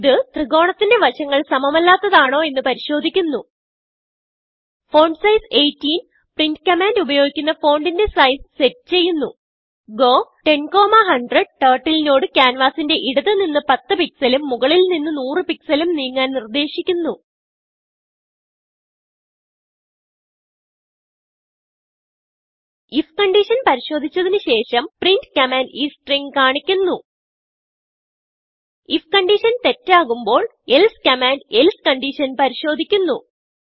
ഇത് ത്രികോണത്തിന്റെ വശങ്ങൾ സമമല്ലാത്തത് ആണോ എന്ന് പരിശോദിക്കുന്നു ഫോണ്ട്സൈസ് 18പ്രിന്റ് കമാൻഡ് ഉപയോഗിക്കുന്ന ഫോണ്ടിന്റെ sizeസെറ്റ് ചെയ്യുന്നു ഗോ 10100 ടർട്ടിൽ നോട് ക്യാൻവാസിന്റെ ഇടത് നിന്ന് 10 pixelഉം മുകളിൽ നിന്ന് 100പിക്സൽ ഉം നീങ്ങാൻ നിർദേശിക്കുന്നു ifകൺഡിഷൻ പരിശോദിച്ചതിന് ശേഷം printകമാൻഡ് ഈ stringകാണിക്കുന്നു ifകൺഡിഷൻ തെറ്റാകുമ്പോൾ elseകമാൻഡ് elseകൺഡിഷൻ പരിശോദിക്കുന്നു